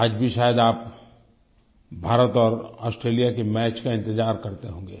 आज भी शायद आप भारत और ऑस्ट्रेलिया के मैच का इंतज़ार करते होंगे